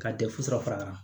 Ka fara a kan